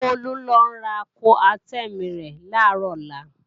Bólú ń lọ ra Coartem rẹ̀ làárò ọlá